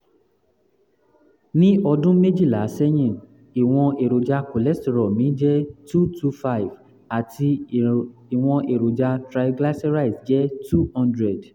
ní ọdún méjìlá sẹ́yìn ìwọ̀n èròjà cholesterol mi jẹ́ 225 àti ìwọ̀n èròjà triglycerides jẹ́ 200